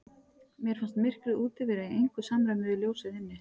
Mér fannst myrkrið úti vera í engu samræmi við ljósið inni.